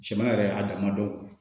Jamana yɛrɛ a dama dɔn